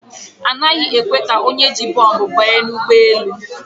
A passenger is not allowed to board the plane with bomb